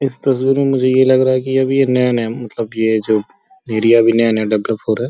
इस तस्वीर में मुझे ये लग रहा है कि अभी ये नया नया मतलब कि ये जो एरिया अभी नया नया डेवलप हो रहा है।